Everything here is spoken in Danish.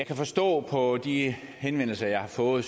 kan forstå på de henvendelser jeg har fået